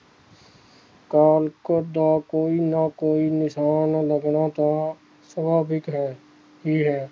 ਕਾਲਕੋਠ ਦਾ ਕੋਈ ਨਾ ਕੋਈ ਨਿਸ਼ਾਨ ਲੱਗਣਾ ਤਾਂ ਸੁਭਾਵਿਕ ਹੀ ਹੈ